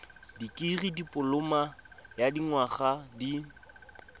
dikirii dipoloma ya dinyaga di